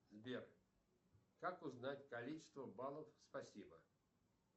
сбер как узнать количество баллов спасибо